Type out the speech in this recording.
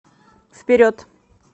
вперед